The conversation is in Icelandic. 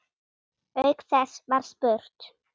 Auk þess var spurt